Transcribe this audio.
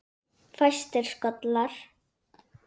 Fæstir skollar